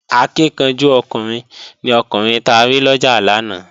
Akíkanjú ọkùnrin ni ọkùnrin ta rí lọ́jà lánàá